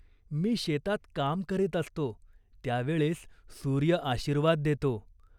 मी शेतात काम करीत असतो, त्या वेळेस सूर्य आशिर्वाद देतो.